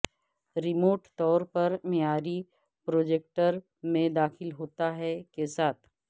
remote طور پر معیاری پروجیکٹر میں داخل ہوتا ہے کے ساتھ